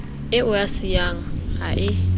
eo a siyang a e